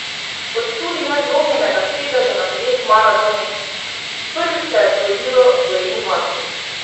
Kot tudi ne zlomljenega sedeža na dveh maratonih: "Prvič se je zgodilo v Gorenji vasi.